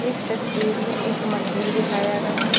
इस तस्वीर में एक मंदिर दिखाया है।